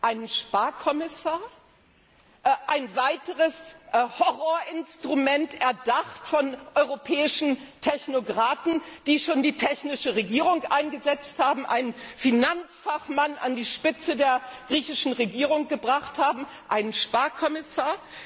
Einen Sparkommissar? Ein weiteres Horrorinstrument, erdacht von europäischen Technokraten, die schon die technische Regierung eingesetzt und einen Finanzfachmann an die Spitze der griechischen Regierung gebracht haben, einen Sparkommissar?